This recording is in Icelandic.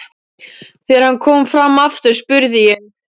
Þegar hann kom fram aftur spurði ég